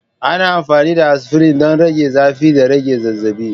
Ana amfani da aspirin don rage zafi da rage zazzabi.